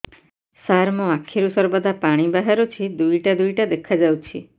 ସାର ମୋ ଆଖିରୁ ସର୍ବଦା ପାଣି ବାହାରୁଛି ଦୁଇଟା ଦୁଇଟା ଦେଖାଯାଉଛି